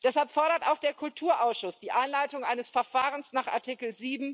Deshalb fordert auch der Kulturausschuss die Einleitung eines Verfahrens nach Artikel